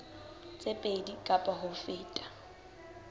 tse pedi kapa ho feta